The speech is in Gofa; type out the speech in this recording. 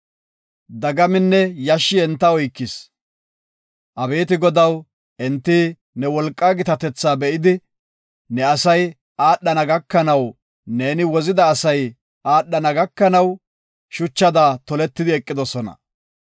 Dagaminne yashshi enta oykis. Abeeti Godaw, enti ne wolqaa gitatetha be7idi, ne asay aadhana gakanaw, neeni wozida asay aadhana gakanaw, shuchada toletidi eqidosona.